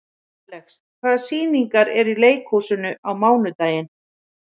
Alex, hvaða sýningar eru í leikhúsinu á mánudaginn?